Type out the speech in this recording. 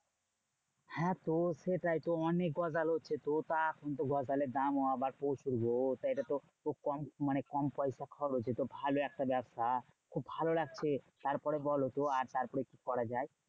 হ্যাঁ তো সেটাই তো অনেক গজাল হচ্ছে তো। তা এখন তো গজালের দামও আবার প্রচুর গো? তা এটাতো খুব কম মানে কম পয়সা খরচ এতো ভালো একটা ব্যবসা। খুব ভালো লাগছে। তারপরে বলো তো তারপরে আর কি করা যায়?